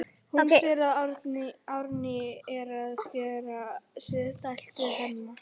Hún sér að Árný er að gera sér dælt við Hemma.